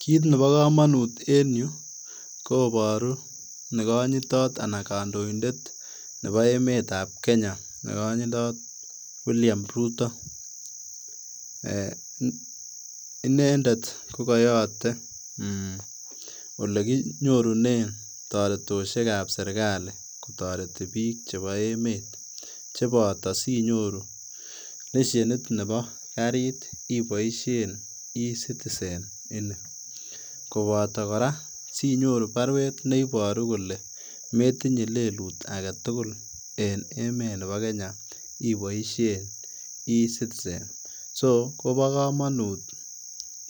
Kit nebo komonut en yu koboru negonyitot anan kondoindet nebo emetab kenya negonyitot William Ruto ,inendet kokoyote olekinyorune toretosiekab serkali kotoreti bik chebo emet koboto sinyoru lesienit neboo karit iboisien [cs[eCitizen ini ,koboto koraa sinyoru baruet neboru kole metinyee lelut aketugul en emet nebo Kenya iboisien [cs[eCitizen so koboo komonut